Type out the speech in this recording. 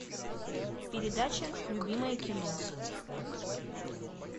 передача любимое кино